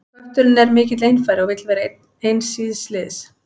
Kötturinn er mikill einfari og vill vera eins síns liðs.